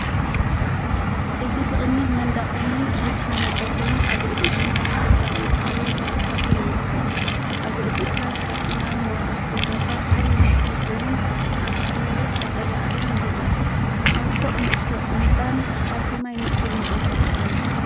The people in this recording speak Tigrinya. እዚ ብቕድሚት መንደቕ እምኒ ዝተሃንጸ ኮይኑ፡ኣብ ልዕሊኡ ድማ ተፈጥሮኣዊ ሳዕርን ጫካታትን ይርከብ። ኣብ ልዕሊኡ ካብ ሓጺናዊ መዋቕር ዝተሰርሐ ዓቢ ናሕሲ ኮይኑ ኣብቲ ከባቢ ቀጠልያ ኣግራብ ይርአ። ኣብ ርሑቕ ንእሽቶ እምባን ኣብ ሰማይ ንጹር መዓልትን ኣሎ።